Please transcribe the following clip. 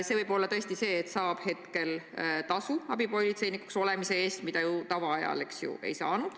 See motivatsioon võib ehk olla see, et praegu makstakse abipolitseinikuks olemise eest tasu, mida tavalisel ajal ei saa.